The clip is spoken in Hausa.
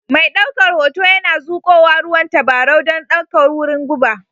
Mai daukar hoto yana zuƙowa ruwan tabarau don ɗaukar wurin guba